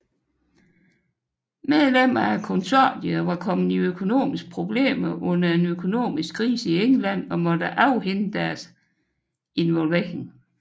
Medlemmer af konsortiet var kommet i økonomiske problemer under en økonomiske krise i England og måtte afhænde deres arrangementer